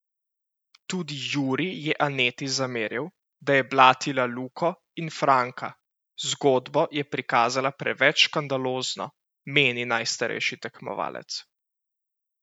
Tudi Jurij je Aneti zameril, da je blatila Luko in Franka: "Zgodbo je prikazala preveč škandalozno," meni najstarejši tekmovalec.